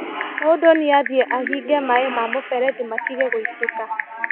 Mũndũ nĩathie ahinge maĩ ma mũberethi matige gũitĩka.